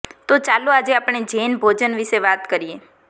તો ચાલો આજે આપણે જૈન ભોજન વિશે વાત કરીએ